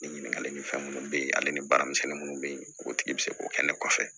Ni ɲininkakali ni fɛn munnu be yen ale ni baaramisɛnni munnu be ye o tigi be se k'o kɛ ne kɔfɛ